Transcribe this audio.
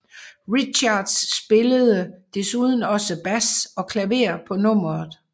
Richards spillede desuden også bass og klaver på nummeret